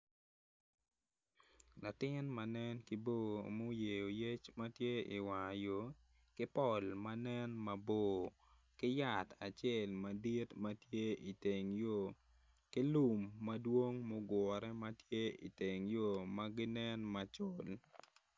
Latin ma nen ki bor ma oyeo yec matye i war yor ki pol manen mabor kiyat acel manen madit matye i teng yo kilum madwong ma ogure tye i teng yo maginen macol.